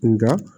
Nka